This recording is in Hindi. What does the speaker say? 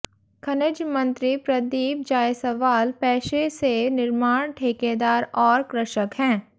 खनिज मंत्री प्रदीप जायसवाल पेशे से निर्माण ठेकेदार और कृषक हैं